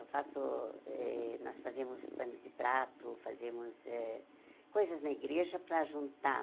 Eu faço eh, nós fazemos panos de prato, fazemos eh coisas na igreja para juntar.